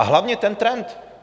A hlavně, ten trend.